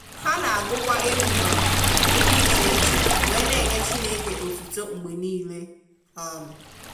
Ha na agụ kwa egwu um di iche-iche wee n'enye Chineke otito mgbe nile. um